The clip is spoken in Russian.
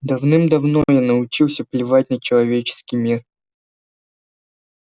давным-давно я научился плевать на человеческий мир